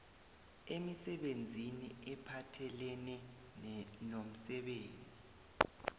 emisebenzini ephathelene nomsebenzi